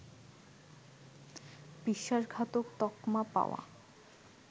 বিশ্বাসঘাতক তকমা পাওয়া